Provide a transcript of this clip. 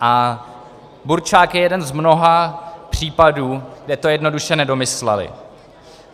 A burčák je jeden z mnoha případů, kde to jednoduše nedomysleli.